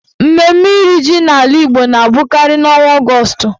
Mmemme iri ji n'ala Igbo na abụkarị n'ọnwa Ọgọọst.